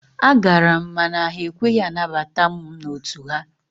A gara m mana ha ekweghị anabata mụ n'otu ha.